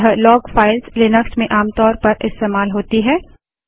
यह log files Linux में आमतौर पर इस्तेमाल होती है